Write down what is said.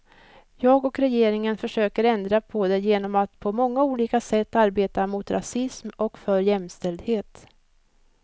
Jag och regeringen försöker ändra på det genom att på många olika sätt arbeta mot rasism och för jämställdhet.